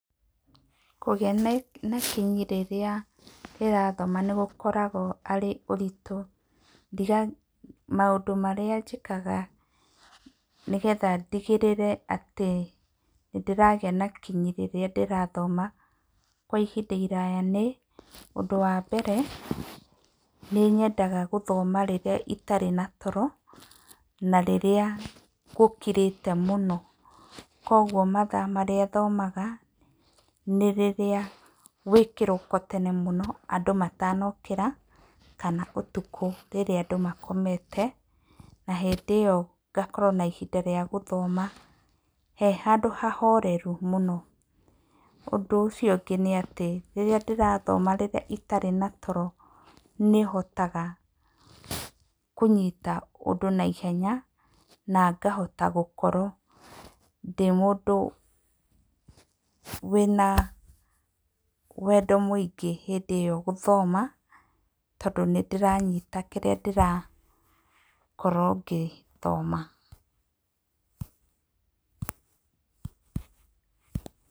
Kũgĩa nĩ na kinyi rĩrĩa ndĩrathoma nĩ gũkoragwo arĩ ũritũ, ndiga, maũndũ marĩa njĩkaga nĩ getha ndigĩrĩre atĩ nĩ ndĩragĩa na kinyi rĩrĩa ndĩrathoma, kwa ihinda iraya nĩ, ũndũ wa mbere, nĩ nyendaga gũthoma rĩrĩa itarĩ na toro, na rĩrĩa gũkirĩte mũno, koguo mathaa marĩa thomaga, nĩ rĩrĩa gwĩkĩroko tene mũno, andũ matanokĩra, kana ũtukũ rĩrĩa andũ makomete, na hĩndĩ ĩyo ngakorwo na ihinda rĩya gũthoma, he handũ hahoreru mũno, ũndũ ũcio ũngĩ nĩ atĩ, rĩrĩa ndĩrathoma rĩrĩa itarĩ na toro nĩ hotaga kũnyita ũndũ na ihenya, na ngahota gũkorwo ndĩmũndũ wĩna wendo mũingĩ hĩndĩ ĩyo gũthoma, tondũ nĩ ndĩranyita kĩrĩa ndĩrakorwo ngĩthoma.